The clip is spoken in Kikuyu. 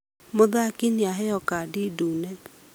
Mũthaki nĩaheo kandi ndune